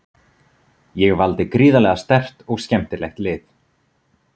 Ég valdi gríðarlega sterkt og skemmtilegt lið.